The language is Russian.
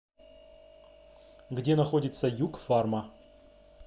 где находится юг фарма